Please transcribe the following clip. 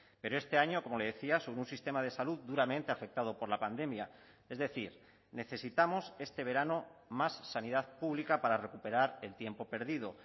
pero este año como le decía sobre un sistema de salud duramente afectado por la pandemia es decir necesitamos este verano más sanidad pública para recuperar el tiempo perdido